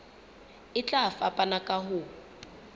e tla fapana ka ho